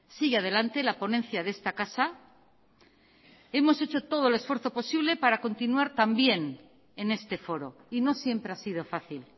sigue adelante la ponencia de esta casa hemos hecho todo el esfuerzo posible para continuar también en este foro y no siempre ha sido fácil